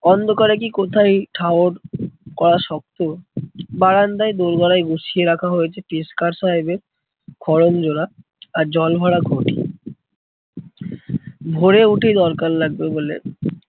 অন্ধকারে কি কোথায় ঠাওর করা শক্ত। বারান্দায় দোর গোড়ায় বসিয়ে রাখা হয়েছে পেশকার সাহেবের খড়ম জোড়া আর জল ভরা ঘটি। ভোরে উঠে দরকার লাগবে বলে